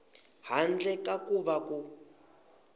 handle ka ku va ku